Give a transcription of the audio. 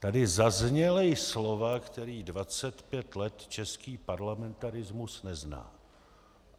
Tady zazněla slova, která 25 let český parlamentarismus nezná.